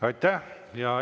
Aitäh!